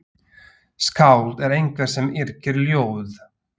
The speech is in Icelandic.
Skáld er einhver sem yrkir ljóð.